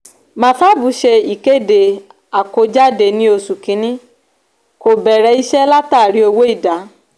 mafab ṣe ìkéde àkójáde ní oṣù kìíní kò bẹ̀rẹ̀ iṣẹ́ látàrí owó ìdá.